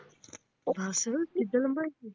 ਬਸ ਏਡਾ ਲੰਬਾ।